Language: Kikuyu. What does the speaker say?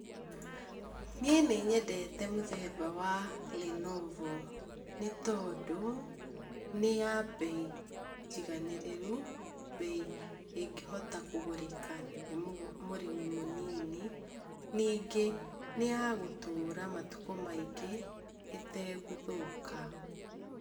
Niĩ nĩnyendete mũthemba wa Lenovo, nĩ tondũ nĩ ya mbei njiganĩrĩru. Mbei ĩngĩhota kũgũrĩka nĩ mũrĩmi mũnini. Ningĩ, nĩ ya gũtũũra matukũ maingĩ ĩtegũthũka.